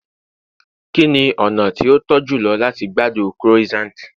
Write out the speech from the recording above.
kini ona ti o to jùlọ lati gbádùn croissant